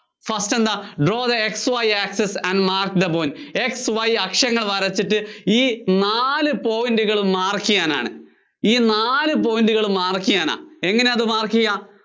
first എന്താ draw the X Y access and mark the point X Y അക്ഷങ്ങള്‍ വരച്ചിട്ട് ഈ നാല് point കള്‍ mark ചെയ്യാനാണ്.